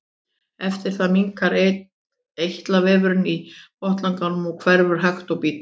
Eftir það minnkar eitlavefurinn í botnlanganum og hverfur hægt og bítandi.